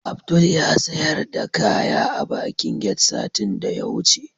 Abdul yasiyar da kaya a bakin get satin da yawuce